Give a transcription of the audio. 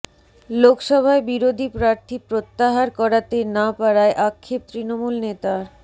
লোকসভায় বিরোধী প্রার্থী প্রত্যাহার করাতে না পারায় আক্ষেপ তৃণমূল নেতার